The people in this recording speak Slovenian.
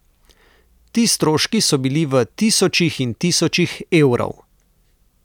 Ti stroški so bili v tisočih in tisočih evrov.